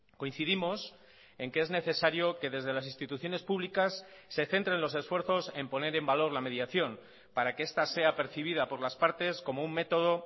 coincidimos en que es necesario que desde las instituciones públicas se centren los esfuerzos en poner en valor la mediación para que esta sea percibida por las partes como un método